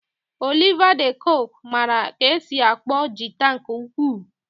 Oliva de koque mara ka esi akpọ jịta nke ukwu.